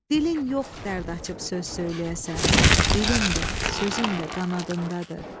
Dilin yox, dərd açıb söz söyləyəsən, dilin də, sözün də qanadındadır.